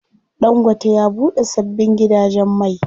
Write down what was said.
Ɗangote ya buɗe sabbin gidajen mai.